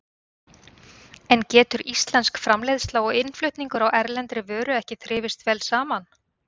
En getur íslensk framleiðsla og innflutningur á erlendri vöru ekki þrifist vel saman?